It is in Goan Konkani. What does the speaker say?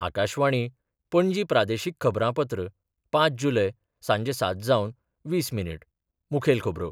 आकाशवाणी, पणजी प्रादेशीक खबरांपत्र पांच जुलय, सांजे सात जावन वीस मिनीट मुखेल खबरो